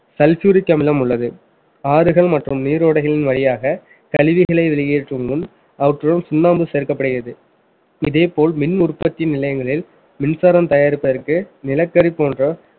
sulfuric அமிலம் உள்ளது ஆறுகள் மற்றும் நீரோடைகளின் வழியாக கழிவுகளை வெளியே உதவும் அவற்றுள் சுண்ணாம்பு சேர்க்கப்படுகிறது இதே போல் மின் உற்பத்தி நிலையங்களில் மின்சாரம் தயாரிப்பதற்கு நிலக்கரி போன்ற